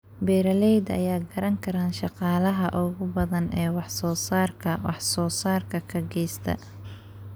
Beeralayda ayaa garan kara shaqaalaha ugu badan ee wax soo saarka wax soo saarka ka geysta.